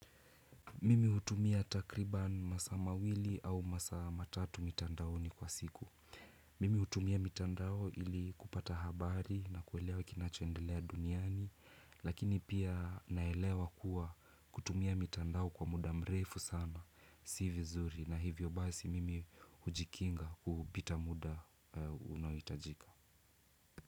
Mimi hutumia takriban masaa mawili au masaa matatu mitandaoni kwa siku. Mimi hutumia mitandao ili kupata habari na kuelewa kinachoendelea duniani. Lakini pia naelewa kuwa kutumia mitandao kwa muda mrefu sana. Si vizuri na hivyo basi mimi hujikinga kupita muda unaohitajika.